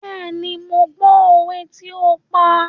Bẹ́ẹ̀ni, mo gbọ́ òwe tí ó ń pa.